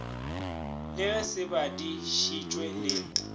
le ge se badišitšwe le